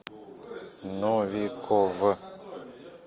новиков